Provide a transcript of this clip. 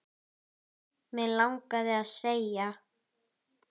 Mig langaði að segja